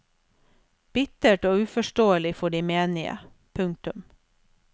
Bittert og uforståelig for de menige. punktum